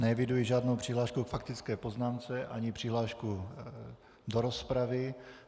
Neeviduji žádnou přihlášku k faktické poznámce ani přihlášku do rozpravy.